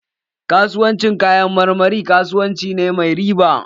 Kasuwancin kayan marmari kasuwanci ne mai riba.